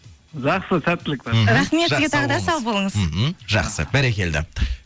жақсы сәттілік мхм рахмет сізге тағы да сау болыңыз мхм жақсы бәрекелді